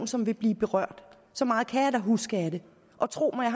som vil blive berørt så meget kan jeg da huske af det og tro mig